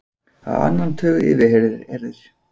Á annan tug yfirheyrðir